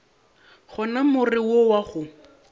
gona more wo wa go